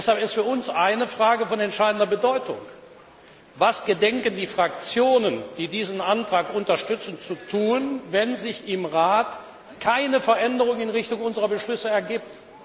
Deshalb ist für uns eine Frage von entscheidender Bedeutung Was gedenken die Fraktionen, die diesen Antrag unterstützen, zu tun, wenn sich im Rat keine Veränderung in Richtung unserer Beschlüsse ergibt?